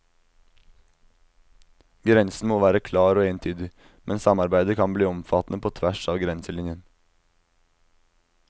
Grensen må være klar og entydig, men samarbeidet kan bli omfattende på tvers av grenselinjen.